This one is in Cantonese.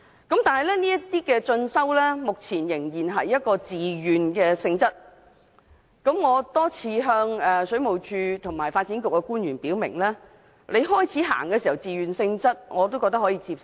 但是，這些進修目前仍然是自願性質，我多次向水務署和發展局官員表明，初期以自願性質推出持續進修計劃，我覺得可以接受。